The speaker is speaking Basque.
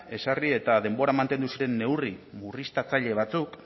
ezarri eta denbora mantendu zen neurri murriztaile batzuk